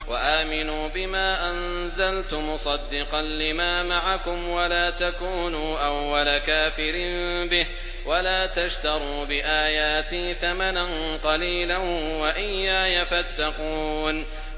وَآمِنُوا بِمَا أَنزَلْتُ مُصَدِّقًا لِّمَا مَعَكُمْ وَلَا تَكُونُوا أَوَّلَ كَافِرٍ بِهِ ۖ وَلَا تَشْتَرُوا بِآيَاتِي ثَمَنًا قَلِيلًا وَإِيَّايَ فَاتَّقُونِ